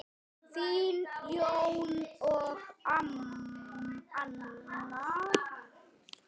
Þín, Jón og Anna.